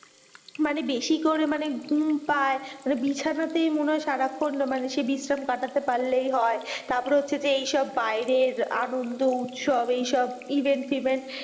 মানে বেশি করে মানে ঘুম পায় মানে বিছানাতে মনে হয় সারাক্ষন মানে বিশ্রাম কাটাতে পারলেই হয় তারপর হচ্ছে যে এই সব বাইরের আনন্দ, উৎসব এই সব event টিভেন্ট।